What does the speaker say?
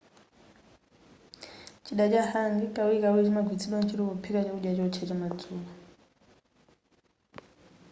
chida cha hangi kawirikawiri chimagwiritsidwa ntchito pophika chakudya chowotcha chamadzulo